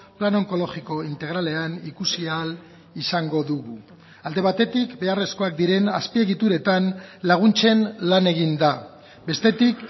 plan onkologiko integralean ikusi ahal izango dugu alde batetik beharrezkoak diren azpiegituretan laguntzen lan egin da bestetik